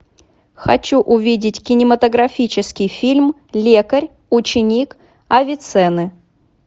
хочу увидеть кинематографический фильм лекарь ученик авиценны